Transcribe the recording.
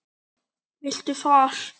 Viltu far?